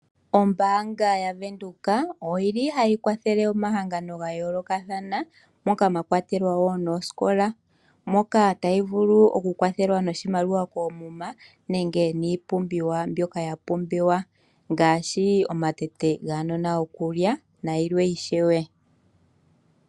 Ombanga yaVenduka oyili hayi kwathele omahangano ga yookathana moka mwa kwatelwa wo noosikola moka tayi vulu okukwathelwa noshimaliwa koomuma nenge niipumbiwa mbyoka ya pumbiwa ngaashi omatete guunona gokulya nayilwe ishewe.